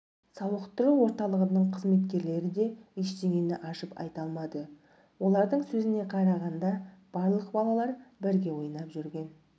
сауықтыру орталығының қызметкерлері де ештеңені ашып айта алмады олардың сөзіне қарағанда барлық балалар бірге ойнап жүрген